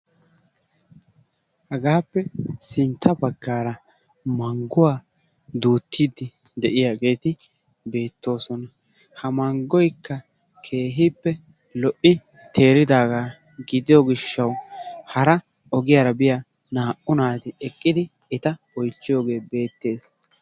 Hagaappe sintta bagaara manguwa duutiidi de'iyageeti beetoossosna. Ha mangoykka keehippe loytti teeridaaga gidiyo gishawu hara naa'u naati eta oychchiyooge beettees.